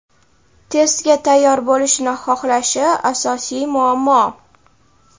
testga tayyor bo‘lishini xohlashi – asosiy muammo.